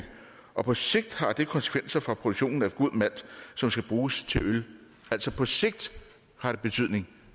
og på sigt har det konsekvenser for produktionen af god malt som skal bruges til øl altså på sigt har det betydning